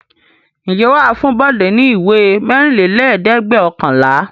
Ǹjẹ́ wà á fún Bọ̀dé ní ìwé mẹ́rìnlélẹ́ẹ̀dẹ́gbẹ̀ọ̀kànlá?